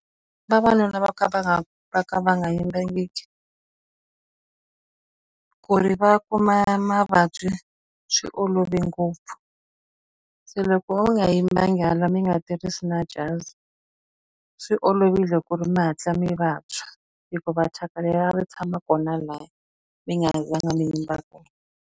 Vavanuna vo ka va nga va ka va nga yimbangiki ku ri va kuma mavabyi swi olove ngopfu. Se loko va nga yimbanga laha mi nga tirhisi na jazi, swi olovile ku ri mi hatla mi vabya hikuva thyaka leriya ri tshama kona laha mi nga zanga mi yimba .